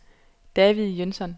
David Jønsson